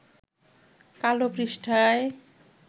কালো পৃষ্ঠায়